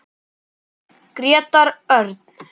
Grétar Örn.